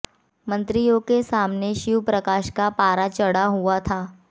मंत्रियों के सामने शिव प्रकाश का पारा चढ़ा हुआ था